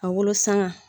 A wolosɛbɛn